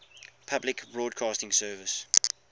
public broadcasting service